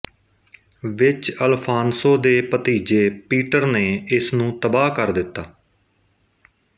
ਵਿੱਚ ਅਲਫਾਨਸੋ ਦੇ ਭਤੀਜੇ ਪੀਟਰ ਨੇ ਇਸਨੂੰ ਤਬਾਹ ਕਰ ਦਿੱਤਾ